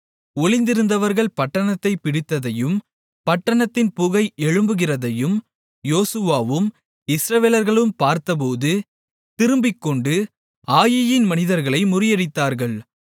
ஒளிந்திருந்தவர்கள் பட்டணத்தைப் பிடித்ததையும் பட்டணத்தின் புகை எழும்புகிறதையும் யோசுவாவும் இஸ்ரவேலர்களும் பார்த்தபோது திரும்பிக்கொண்டு ஆயீயின் மனிதர்களை முறியடித்தார்கள்